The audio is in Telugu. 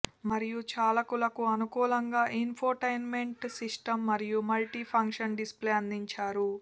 మరియు చాలకులకు అనుకూలంగా ఇన్ఫోటైన్మెంట్ సిస్టం మరియు మల్టి ఫంక్షన్ డిస్ప్లే అందించారు